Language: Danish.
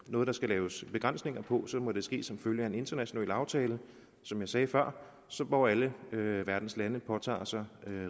noget der skal laves begrænsninger på må det ske som følge af en international aftale som jeg sagde før hvor alle verdens lande påtager sig